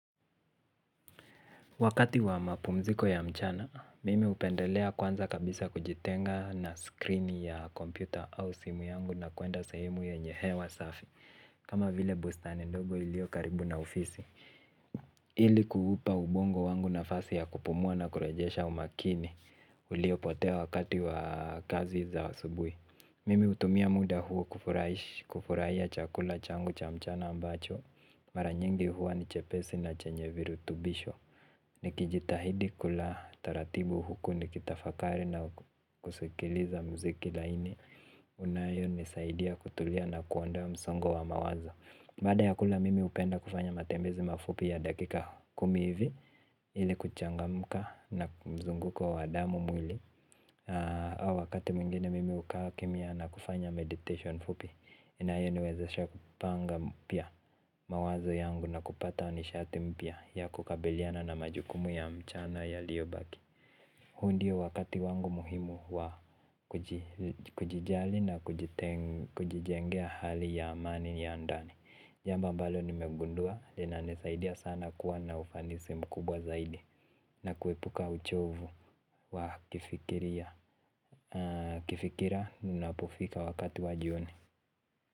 Wakati wa mapumziko ya mchana, mimi hupendelea kwanza kabisa kujitenga na screen ya kompyuta au simu yangu na kuenda sehemu yenye hewa safi, kama vile bustani ndogo iliyo karibu na ofisi. Ili kuupa ubongo wangu nafasi ya kupumua na kurejesha umakini, uliopotea wakati wa kazi za asubuhi. Mimi hutumia muda huu kufurahia chakula changu cha mchana ambacho, mara nyingi huwa ni chepesi na chenye virutubisho. Nikijitahidi kula taratibu huku nikitafakari na kusikiliza muziki laini unayonisaidia kutulia na kuondoa msongo wa mawazo. Baada ya kula mimi hupenda kufanya matembezi mafupi ya dakika kumi hivi. Ili kuchangamka na mzunguko wa damu mwili. Au wakati mwingine mimi hukaa kimya na kufanya meditation fupi inayoniwezesha kupanga mpya mawazo yangu na kupata nishati mpya ya kukabiliana na majukumu ya mchana yaliyobaki. Huu ndio wakati wangu muhimu wa kujijali na kujijengea hali ya amani ya ndani. Jambo ambalo nimegundua linanisaidia sana kuwa na ufanisi mkubwa zaidi na kuepuka uchovu wa kifikiria. Kifikira ninapofika wakati wa jioni.